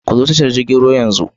Ku zo tashar jirgin ruwa yanzu.